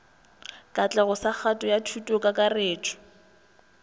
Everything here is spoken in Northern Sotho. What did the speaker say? katlego sa kgato ya thutokakarretšo